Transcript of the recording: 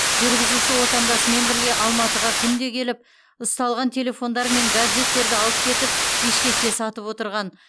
жүргізуші отандасымен бірге алматыға күнде келіп ұсталған телефондар мен гаджеттерді алып кетіп бішкекте сатып отырған